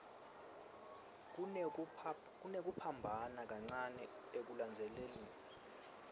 kunekuphambana kancane ekulandzelaniseni